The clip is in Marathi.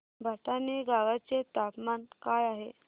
भटाणे गावाचे तापमान काय आहे